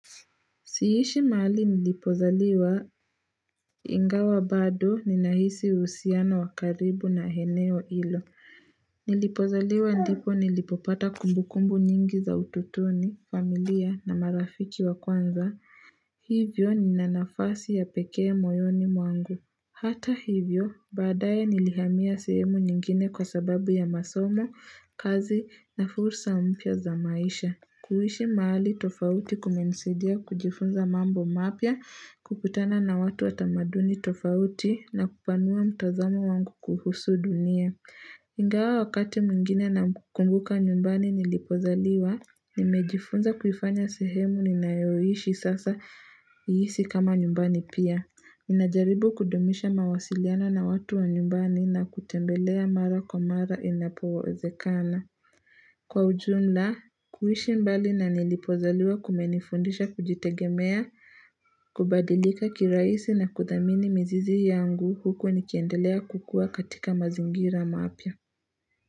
Siishi maali nilipozaliwa ingawa bado ninahisi uhusiano wakaribu na heneo ilo. Nilipozaliwa ndipo nilipopata kumbukumbu nyingi za utotoni, familia na marafiki wa kwanza. Hivyo ninanafasi ya pekee moyoni mwangu. Hata hivyo badaye nilihamia sehemu nyingine kwa sababu ya masomo, kazi na fursa mpya za maisha. Kuhishi maali tofauti kumenisaidia, kujifunza mambo mapya, kukutana na watu watamaduni tofauti na kupanua mtazamo wangu kuhusu dunia. Ingawa wakati mwingine na kumbuka nyumbani nilipozaliwa, nimejifunza kufanya sehemu ni nayoishi sasa iisi kama nyumbani pia. Inajaribu kudumisha mawasiliano na watu wa nyumbani na kutembelea mara kwa mara inapowezekana. Kwa ujumla, kuhishi mbali na nilipozaliwa kumenifundisha kujitegemea, kubadilika kiraisi na kudhamini mizizi yangu huko nikiendelea kukua katika mazingira maapya.